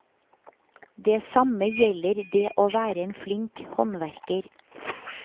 Det samme gjelder det å være en flink håndverker.